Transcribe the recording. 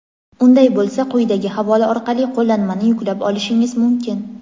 Unday bo‘lsa quyidagi havola orqali Qo‘llanmani yuklab olishingiz mumkin!.